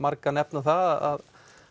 marga nefna það